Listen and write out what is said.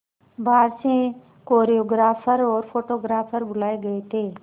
बाहर से कोरियोग्राफर और फोटोग्राफर बुलाए गए थे